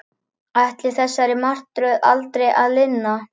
Ætlaði þessari martröð aldrei að linna?